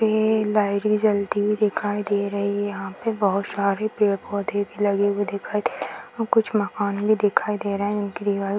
ये लाइट भी जलती दिखाई दे रहे है यहाँ पे बहुत सारी पेड़-पौधे भी लगे हुए दिखाई दे रहे हैं और कुछ मकान भी दिखाई दे रहे हैं उनकी दीवाल --